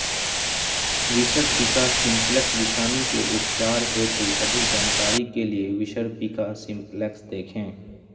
विसर्पिका simplex विषाणु के उपचार हेतु अधिक जानकारी के लिए विसर्पिका सिम्प्लेक्स देखें